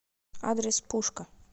адрес пушка